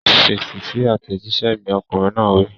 Fèsì sí àtẹ̀jíṣẹ́ mi! Ọkùnrin náà wí.